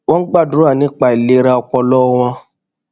wón ń gbàdúrà nípa ìlera ọpọlọ wọn